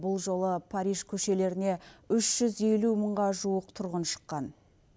бұл жолы париж көшелеріне үш жүз елу мыңға жуық тұрғын шыққан